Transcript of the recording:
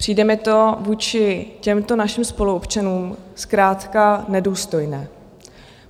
Přijde mi to vůči těmto našim spoluobčanům zkrátka nedůstojné.